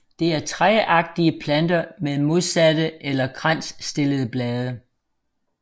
Det er træagtige planter med modsatte eller kransstillede blade